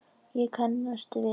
Ég kannast við hann.